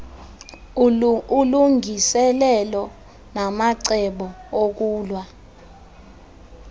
ulungiselelo namacebo okulwa